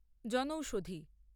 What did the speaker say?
জনৌষধি